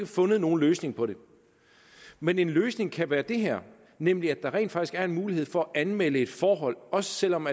fået nogen løsning på det men en løsning kan være det her nemlig at der rent faktisk er en mulighed for at anmelde et forhold også selv om